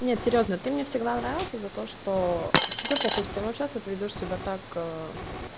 нет серьёзно ты мне всегда нравился за то что тебе похуй с кем общаться ты ведёшь себя так